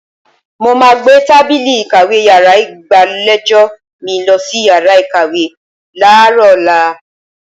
Mo máa gbé tábìlì ìkàwé yàrá ìgbàlejò mi lọ sí yàrá ìkàwé láàárọ̀ ọ̀la.